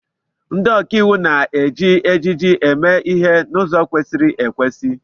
Ndị ọkàiwu na-eji ejiji eme ihe n'ụzọ kwesịrị ekwesị.